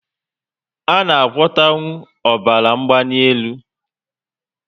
A na agwota nwu ọbara mgbanelu?